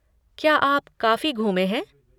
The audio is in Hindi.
क्या आप काफ़ी घूमे हैं?